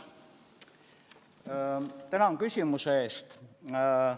Tänan küsimuse eest!